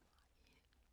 TV 2